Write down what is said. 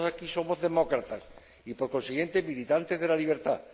Todos aquí somos demócratas y, por consiguiente, militantes de la libertad